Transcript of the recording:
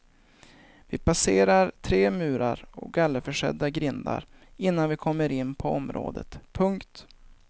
Vi passerar tre murar och gallerförsedda grindar innan vi kommer in på området. punkt